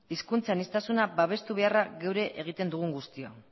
hizkuntz aniztasuna babestu beharra geuk ere egiten dugun guztiona